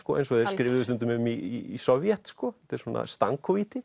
eins og þeir skrifuðu stundum um í Sovét þetta er svona